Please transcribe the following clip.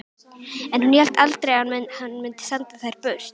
En hún hélt aldrei að hann mundi senda þær burt.